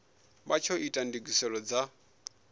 vha tsho ita ndugiselo dza